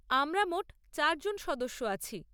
আমরা মোট চার জন সদস্য আছি।